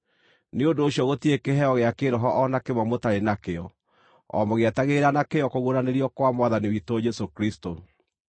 Nĩ ũndũ ũcio gũtirĩ kĩheo gĩa kĩĩroho o na kĩmwe mũtarĩ nakĩo, o mũgĩetagĩrĩra na kĩyo kũguũranĩrio kwa Mwathani witũ Jesũ Kristũ.